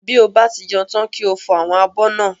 Bí o bá ti jẹun tán kí o fọ àwọn abọ́ náà